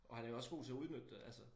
Og han er jo også god til at udnytte det